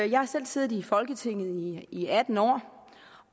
jeg har selv siddet i folketinget i i atten år